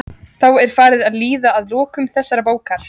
Þá er farið að líða að lokum þessarar bókar.